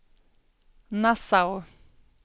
Nassau